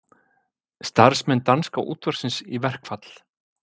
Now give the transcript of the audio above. Starfsmenn danska útvarpsins í verkfall